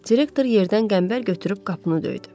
Direktor yerdən qəmbər götürüb qapını döydü.